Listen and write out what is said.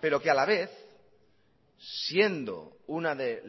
pero que a la vez siendo una de